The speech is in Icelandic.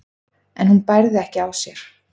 en hún bærði ekki á sér.